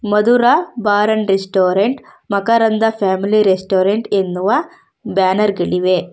Madhura bar and restaurant Makaranda family restaurant ಎನ್ನುವ banner ಗಳಿವೆ.